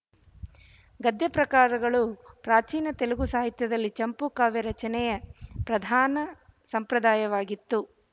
ಗದ್ಯಪ್ರಕಾರಗಳು ಪ್ರಾಚೀನ ತೆಲುಗು ಸಾಹಿತ್ಯದಲ್ಲಿ ಚಂಪೂಕಾವ್ಯ ರಚನೆ ಪ್ರಧಾನ ಸಂಪ್ರದಾಯವಾಗಿತ್ತು